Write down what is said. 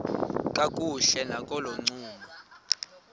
kakuhle nakolo ncumo